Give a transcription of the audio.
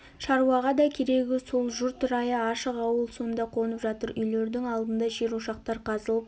шаруаға да керегі сол жұрт райы ашық ауыл сонда қонып жатыр үйлердің алдында жер ошақтар қазылып